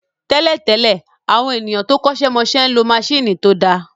Tẹ́lẹ̀ tẹ́lẹ̀, àwọn ènìyàn tó kọ́ṣẹ́ mọṣẹ́ ń lo maṣíìnì tó dáa